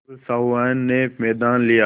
अब सहुआइन ने मैदान लिया